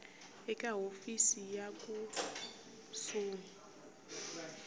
eka hofisi ya le kusuhi